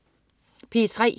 P3: